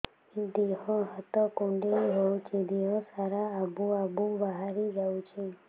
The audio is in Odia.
ଦିହ ହାତ କୁଣ୍ଡେଇ ହଉଛି ଦିହ ସାରା ଆବୁ ଆବୁ ବାହାରି ଯାଉଛି